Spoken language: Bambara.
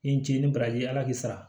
Ni n ce ni baraji ala k'i sara